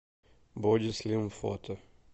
боди слим фото